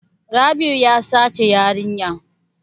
Rabi'u ya sace yarinya.